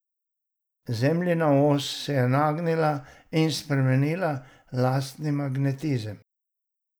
Zemljina os se je nagnila in spremenila lastni magnetizem.